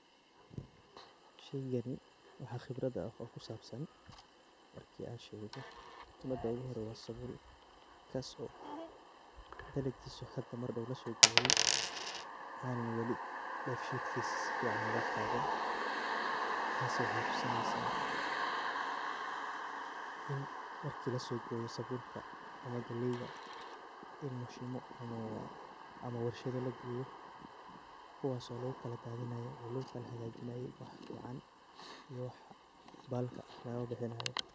Shagani waxa qebrah ah oo kusabsan, marki an shego, qebrada ogu hore sabul kaas oo dalagiso hada mar dow lasogoye, aana wali feedkis wali sufican loqaadin, taasi waxay tusinaysa, in marki lasogoyo sabulka ama galeeyda in mishimo ama warshada lageyo, kuwas oo lagukala dadinayo oo lagukalahagajinayo wixi fican iyo wixi balka ah lagabihinayo.